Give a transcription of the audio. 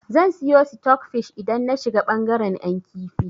Zan siyo sitok fish idan na shiga bangaren 'yan kifi.